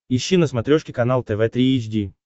ищи на смотрешке канал тв три эйч ди